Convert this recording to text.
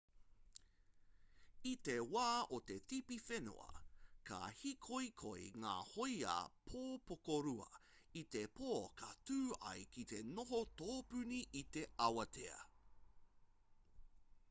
i te wā o te tipi whenua ka hīkoikoi ngā hōia pōpokorua i te pō ka tū ai ki te noho tōpuni i te awatea